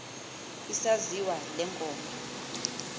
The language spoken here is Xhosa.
isaziwa le ngoma